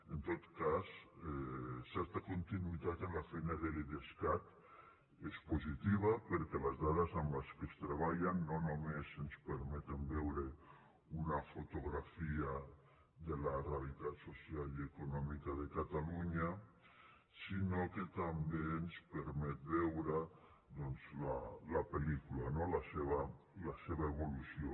en tot cas certa continuïtat en la feina de l’idescat és positiva perquè les dades amb què es treballa no només ens permeten veure una fotografia de la realitat social i econòmica de catalunya sinó que també ens permeten veure doncs la pel·lícula no la seva evolució